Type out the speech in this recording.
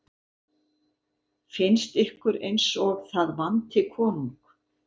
Finnst ykkur eins og það vanti konung?